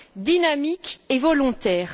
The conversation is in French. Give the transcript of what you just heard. dynamique et volontaire.